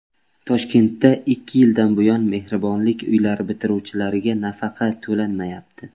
Toshkentda ikki yildan buyon Mehribonlik uylari bitiruvchilariga nafaqa to‘lanmayapti.